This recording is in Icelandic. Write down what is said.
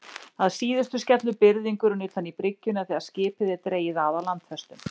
Að síðustu skellur byrðingurinn utan í bryggjuna þegar skipið er dregið að á landfestum.